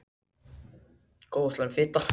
Góð og slæm fita